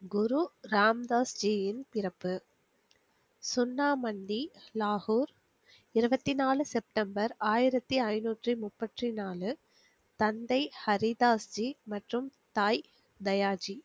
குரு ராம்தாஸ்ஜியின் பிறப்பு செந்தாமண்டி நாகூர் இருவத்தி நாலு செப்டம்பர் ஆயிரத்தி ஐநூற்றி முப்பத்திநாலு தந்தை ஹரிதாஸ்ஜி மற்றும் தாய் தயாஜி